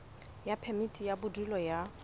ya phemiti ya bodulo ya